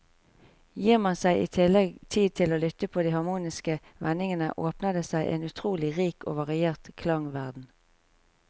Gir man seg i tillegg tid til å lytte på de harmoniske vendingene, åpner det seg en utrolig rik og variert klangverden.